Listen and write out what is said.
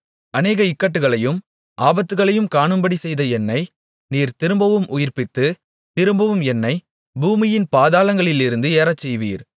அநேக இக்கட்டுகளையும் ஆபத்துகளையும் காணும்படி செய்த என்னை நீர் திரும்பவும் உயிர்ப்பித்து திரும்பவும் என்னைப் பூமியின் பாதாளங்களிலிருந்து ஏறச்செய்வீர்